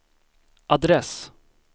adress